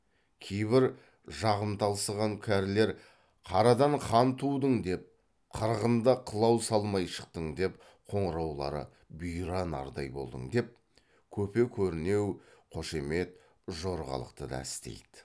кейбір жағымталсыған кәрілер қарадан хан тудың деп қырғында қылау салмай шықтың деп қоңыраулары бұйра нардай болдың деп көпе көрінеу қошемет жорғалықты да істейді